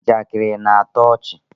njakịrị na-atọ ọchị